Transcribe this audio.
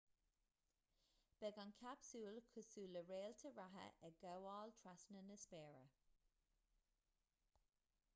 beidh an capsúl cosúil le réalta reatha ag gabháil trasna na spéire